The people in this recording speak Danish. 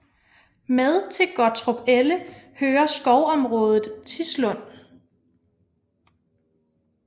Med til Gottrupelle hører skovområdet Tislund